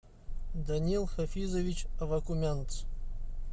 данил хафизович авакумянц